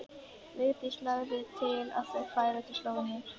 Vigdís lagði til að þau færu til Slóveníu.